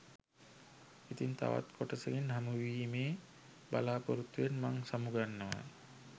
ඉතිං තවත් කොටසකින් හමුවීමේ බලාපොරොත්තුවෙන් මං සමුගන්නවා